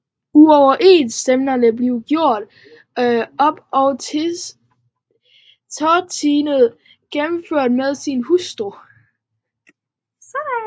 Uoverensstemmelserne blev gjort op og Tartini genforenet med sin hustru